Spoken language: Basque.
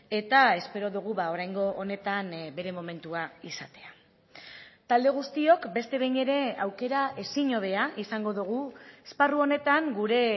eta espero dugu oraingo honetan bere momentua izatea talde guztiok beste behin ere aukera ezin hobea izango dugu esparru honetan gure